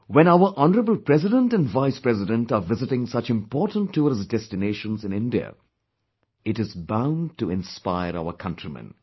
When our Hon'ble President & Vice President are visiting such important tourist destinations in India, it is bound to inspire our countrymen